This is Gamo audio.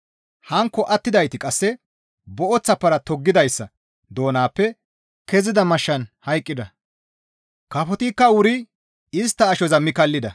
Hankko attidayti qasse booththa para toggidayssa doonappe kezida mashshan hayqqida; kafotikka wuri istta ashoza mi kallida.